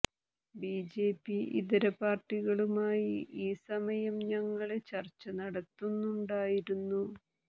BJP ഇതര പാര്ട്ടികളുമായി ഈ സമയം ഞങ്ങള് ചര്ച്ച നടത്തുന്നുണ്ടായിരുന്നു